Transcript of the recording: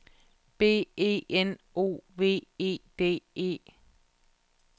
B E N O V E D E